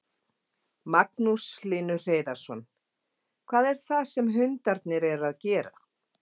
Magnús Hlynur Hreiðarsson: Hvað er það sem hundarnir eru að gera?